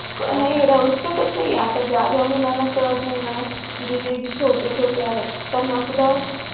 अह नाही राहूच शकत नाही. आता ज्या ज्या मुलांना कळत नाही ना म्हणजे जे छोटे छोटे आहेत त्यांना सुद्धा